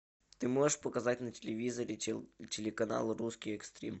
ты можешь показать на телевизоре телеканал русский экстрим